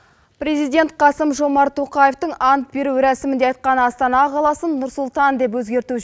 президент қасым жомарт тоқаевтың ант беру рәсімінде айтқан астана қаласын нұр сұлтан деп өзгерту